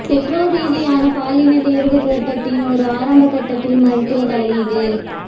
பெற்றோர் ரீதியான பாலின தேர்வு கர்பத்தின் ஒரு ஆரம்ப கட்டத்தில் மருத்துவ தலையீடு